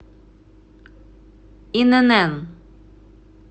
инн